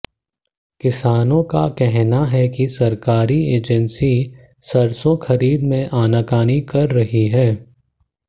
किसानों का कहना है कि सरकारी एजेंसी सरसों खरीद में आनाकानी कर रही हैं